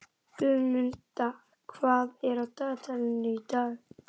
Guðmunda, hvað er á dagatalinu í dag?